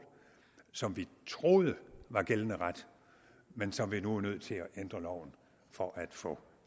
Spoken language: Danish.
som vi troede var gældende ret men som vi nu er nødt til at ændre loven for at få